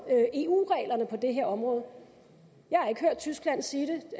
eu reglerne på det her område jeg har ikke hørt tyskland sige